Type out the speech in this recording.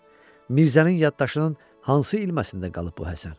Mirzənin yaddaşının hansı ilməsində qalıb bu Həsən?